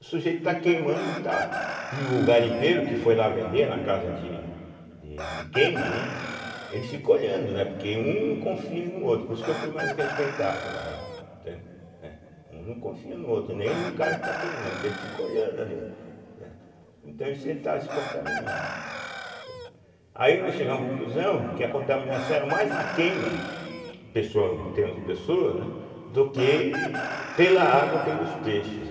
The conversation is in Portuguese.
o sujeito está queimando e está, e o garimpeiro que foi lá vender na casa de de de queima, né, ele fica olhando, né, porque um não confia no outro por isso que eu fui mais respeitado lá, né, entende, né, um não confia no outro, nem no cara que está queimando, então ele fica olhando ali, né, então isso ele está se contaminando, entende, aí nós chegamos à conclusão que a contaminação era mais na queima em pesso em termos de pessoa, né, do que pela água ou pelos peixes